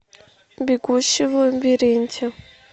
бегущий в лабиринте